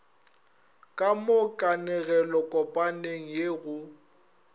ka mo kanegelokopaneng ye go